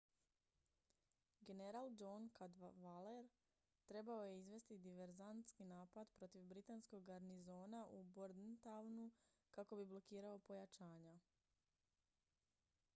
general john cadwalader trebao je izvesti diverzantski napad protiv britanskog garnizona u bordentownu kako bi blokirao pojačanja